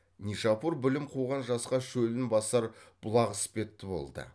нишапур білім қуған жасқа шөлін басар бұлақ іспетті болды